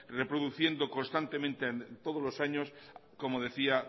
reproduciendo constantemente todos los años como decía